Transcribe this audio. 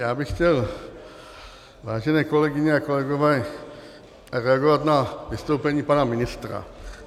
Já bych chtěl, vážené kolegyně a kolegové, reagovat na vystoupení pana ministra.